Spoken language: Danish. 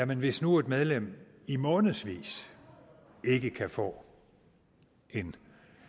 hvis nu et medlem i månedsvis ikke kan få en